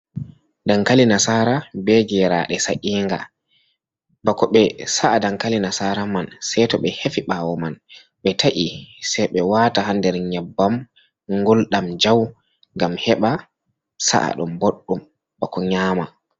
Dankali nasara be geraɗe sa’inga. Bako ɓe sa’a dankali nasara man, sai to ɓe hefi ɓawo man, ɓe ta’i, sai ɓe wata ha nder nyebbam ngulɗam jau ngam heɓa sa’a ɗum boɗɗum bako nyama.